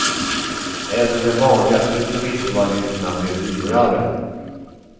Även de vanligaste turistvalutorna blev dyrare.